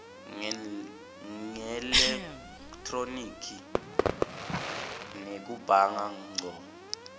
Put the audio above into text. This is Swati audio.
ngeelekhthronikhi nekubhanga ngco